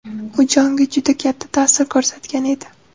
U Jonga juda katta ta’sir ko‘rsatgan edi.